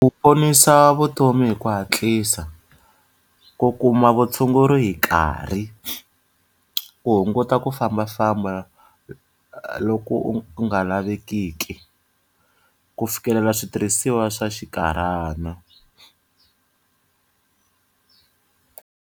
Ku ponisa vutomi hi ku hatlisa, ku kuma vutshunguri hi nkarhi, ku hunguta ku fambafamba loko u ku nga lavekiki, ku fikelela switirhisiwa swa xinkarhana.